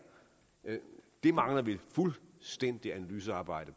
det mangler vi fuldstændig et analysearbejde